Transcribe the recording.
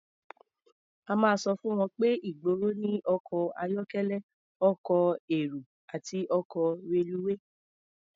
A máa sọ fún wọn pé ìgboro ní ọkọ̀ ayọ́kẹ́lẹ́, ọkọ̀ èrò àti ọkọ̀ reluwé.